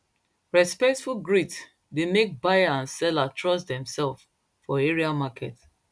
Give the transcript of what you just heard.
respectful greet dey make buyer and seller trust dem sef for area market